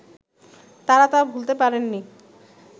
তারা তা ভুলতে পারেননি